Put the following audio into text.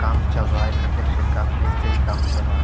काम चल रहा है कंस्ट्रक्शन का मिस्त्री काम चल रहा है।